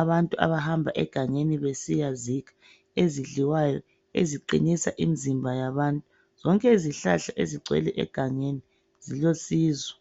abantu abahamba egangeni besiyazikha ezidliwayo eziqinisa imzimba yabantu. Zonke izihlahla ezigcwele egangeni zilosizo.